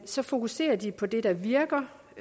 så fokuserer de på det der virker